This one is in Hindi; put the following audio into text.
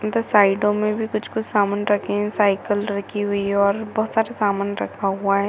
इनके साइडों मे भी कुछ-कुछ समान रखे हुए है साइकिल रखी हुई है और बहोत सारे समान रखा हुआ है।